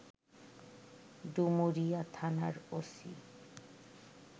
ডুমুরিয়া থানার ওসি